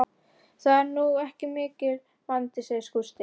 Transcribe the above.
Það er nú ekki mikill vandi, sagði Gústi.